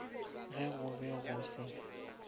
ge go be go se